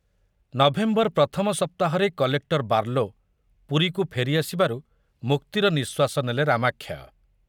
November ପ୍ରଥମ ସପ୍ତାହରେ collector Barlow ପୁରୀକୁ ଫେରି ଆସିବାରୁ ମୁକ୍ତିର ନିଶ୍ୱାସ ନେଲେ ରାମାକ୍ଷୟ।